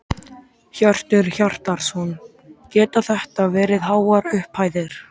Hjörtur Hjartarson: Geta þetta verið háar upphæðir?